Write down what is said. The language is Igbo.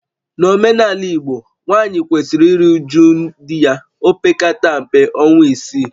N'omenala Igbo, nwaanyị kwesiri iru uju di ya opekata mpe ọnwa isii